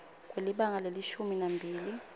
kwelibanga lelishumi nambili